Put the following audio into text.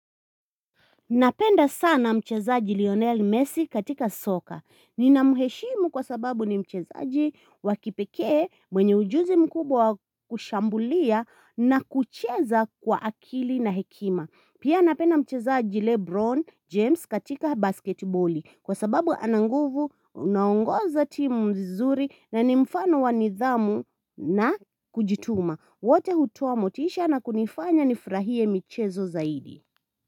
Napenda sana mchezaji Lionel Messi katika soka. Nina muheshimu kwa sababu ni mchezaji wa kipekee mwenye ujuzi mkubwa kushambulia na kucheza kwa akili na hekima. Pia napenda mchezaji Lebron James katika basketboli kwa sababu ana nguvu anauongoza timu mzuri na ni mfano wa nidhamu na kujituma. Wote hutoa motisha na kunifanya nifurahie michezo zaidi.